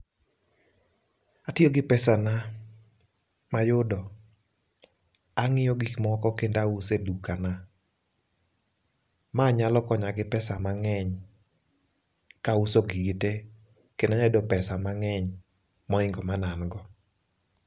Atio gi pesana mayudo, ang'io gik moko kendo auso e dukana. Ma nyalo konya gi pesa manegny, kauso gigi tee kedno anyalo yudo psea mang'ny moingo mane angoa.